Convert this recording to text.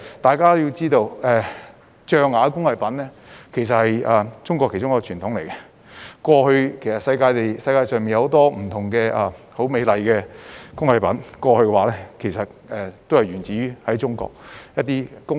大家要知道，象牙工藝是中國的其中一個傳統，世界上很多美麗的工藝品其實都源於中國工藝。